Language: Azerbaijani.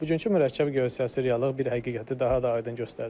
Bugünkü mürəkkəb geosiyasi reallıq bir həqiqəti daha da aydın göstərdi.